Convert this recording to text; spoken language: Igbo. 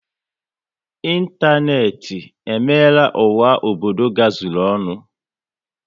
Ịntanetị emeela ụwa obodo gazuru ọnụ